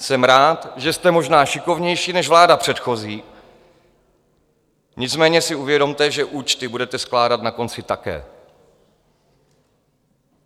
Jsem rád, že jste možná šikovnější než vláda předchozí, nicméně si uvědomte, že účty budete skládat na konci také.